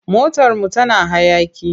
Motarmu tana hayaƙi.